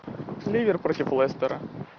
ливер против лестера